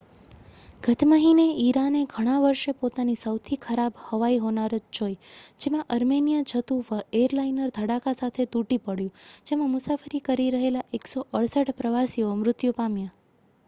ગત મહિને ઇરાને ઘણાં વર્ષે પોતાની સૌથી ખરાબ હવાઈ હોનારત જોઈ જેમાં અર્મેનિયા જતું એરલાઇનર ધડાકા સાથે તૂટી પડ્યું જેમાં મુસાફરી કરી રહેલાં 168 પ્રવાસીઓ મૃત્યુ પામ્યા